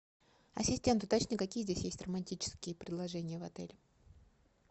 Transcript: ассистент уточни какие здесь есть романтические предложения в отеле